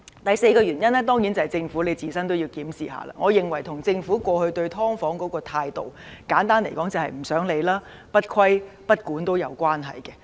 第三，當然是政府要自我檢視，我認為這與政府過去對"劏房"的態度有關，簡單而言是不想理會、不規不管。